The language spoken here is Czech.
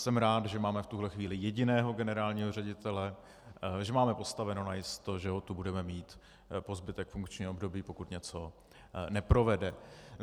Jsem rád, že máme v tuhle chvíli jediného generálního ředitele, že máme postaveno najisto, že ho tu budeme mít po zbytek funkčního období, pokud něco neprovede.